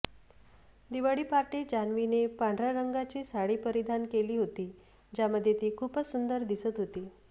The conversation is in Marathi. दिवाळी पार्टीत जान्हवीने पांढर्या रंगाची साडी परिधान केली होती ज्यामध्ये ती खूपच सुंदर दिसत होती